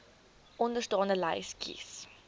onderstaande lys kies